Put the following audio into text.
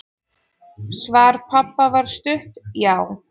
Svar pabba var stutt: Já!